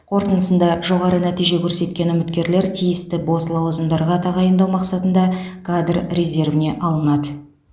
қорытындысында жоғары нәтиже көрсеткен үміткерлер тиісті бос лауазымдарға тағайындау мақсатында кадр резервіне алынады